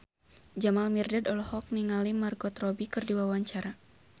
Jamal Mirdad olohok ningali Margot Robbie keur diwawancara